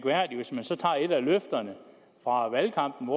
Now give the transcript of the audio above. tager et af løfterne fra valgkampen